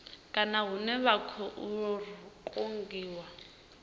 kana hune vha khou kungiwa